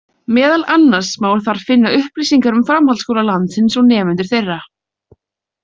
Meðal annars má þar finna upplýsingar um framhaldsskóla landsins og nemendur þeirra.